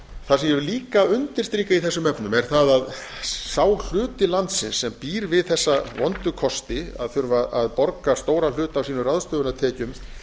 það sem ég vil líka undirstrika í þessum efnum er það að sá hluti landsins sem býr við þessa vondu kosti að þurfa að borga stóran hluta af sínum ráðstöfunartekjum